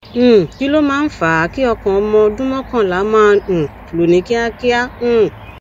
um kí ló máa ń fa a kí ọkàn ọmọ ọdún mọkànlá máa um lù ní kíákíá um